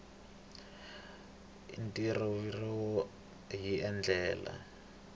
ntivoririmi wu tirhisiwile hi ndlela